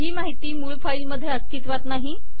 ही माहिती मूळ फाईलमध्ये अस्तित्वात नाही